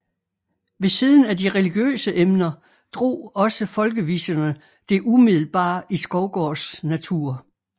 Ved siden af de religiøse emner drog også folkeviserne det umiddelbare i Skovgaards natur